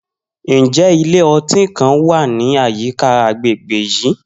Njẹ ilẹ-ọti kan wa ni ayika agbegbe yii?